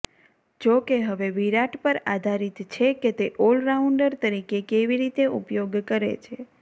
જોકે હવે વિરાટ પર આધારિત છે કે તે ઑલરાઉન્ડર તરીકે કેવી રીતે ઉપયોગ કરે છે